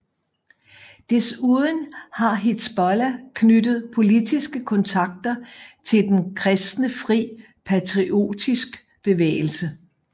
Desuden har Hizbollah knyttet politiske kontakter til den kristne Fri Patriotisk Bevægelse